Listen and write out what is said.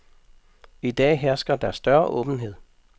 I dag hersker der større åbenhed.